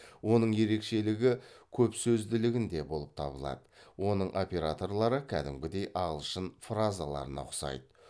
оның ерекшелігі көпсөзділігінде болып табылады оның операторлары кәдімгідей ағылшын фразаларына ұқсайды